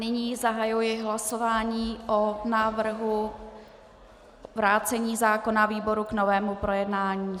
Nyní zahajuji hlasování o návrhu vrácení zákona výboru k novému projednání.